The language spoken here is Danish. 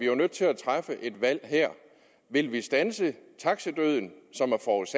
jo nødt til at træffe et valg vil vi standse taxadøden som